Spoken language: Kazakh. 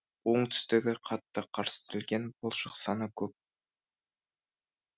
оңтүстігі қатты қарстелген балшық саны көп